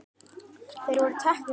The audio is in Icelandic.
Þeir voru teknir fyrir.